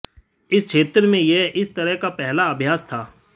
इस क्षेत्र में यह इस तरह का पहला अभ्यास था